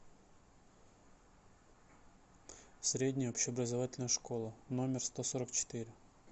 средняя общеобразовательная школа номер сто сорок четыре